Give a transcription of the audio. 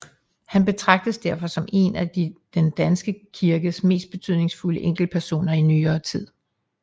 Han betragtes derfor som en af den danske kirkes mest betydningsfulde enkeltpersoner i nyere tid